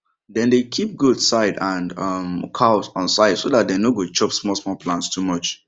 dem dey kip goats side and um cows on side so dat dem no go chop smalsmal plants too much